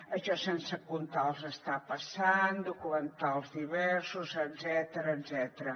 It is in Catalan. això sense comptar els està passant documentals diversos etcètera